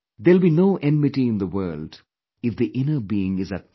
There will be no enmity in the world if the inner being is at peace